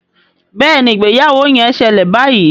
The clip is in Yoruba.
Béèni ìgbéyàwó yén ṣẹlẹ bayí.